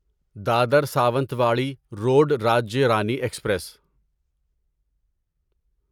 Dadar Sawantwadi road Rajya Rani express